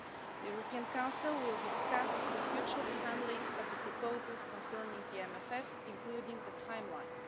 The European Council will discuss the future handling of the proposals concerning the MFF, including the timeline.